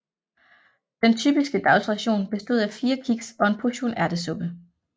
Den typiske dagsration bestod af fire kiks og en portion ærtesuppe